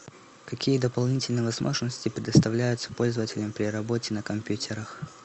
какие дополнительные возможности предоставляются пользователям при работе на компьютерах